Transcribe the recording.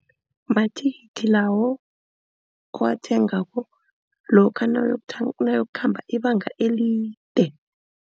Amathikithi lawo owathengako lokha nawuyokukhamba ibanga elide.